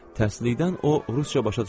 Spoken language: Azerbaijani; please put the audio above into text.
Təhsilikdən o rusca başa düşürdü.